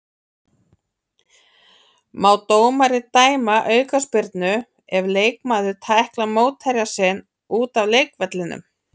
Má dómari dæma aukaspyrnu ef leikmaður tæklar mótherja sinn út af leikvellinum?